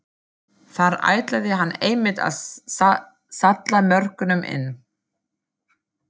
Þar ætlaði hann einmitt að salla mörkunum inn!